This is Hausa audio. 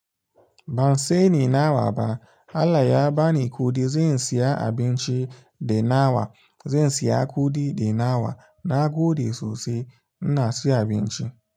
Ban sani nawa ba. Allah ya bani kuɗi, zan saya abinci da nama, zan saya kuɗi da nawa nagode sosai. Ina siyo abinci.